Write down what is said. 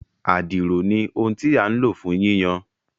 Àdìrò ní ohùn tí a lo fún yíyan